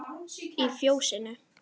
Í Fjósinu